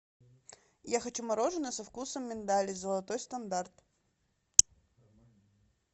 я хочу мороженое со вкусом миндаля золотой стандарт